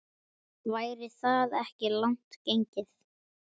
Væri það ekki langt gengið?